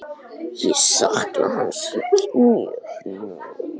Ég sakna hans mjög nú.